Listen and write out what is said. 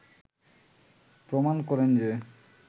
প্রমাণ করেন যে